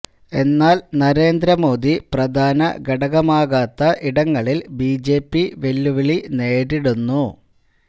എന്നാൽ നരേന്ദ്ര മോദി പ്രധാന ഘടകമാകാത്ത ഇടങ്ങളില് ബിജെപി വെല്ലുവിളി നേരിടുന്നു